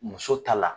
Muso ta la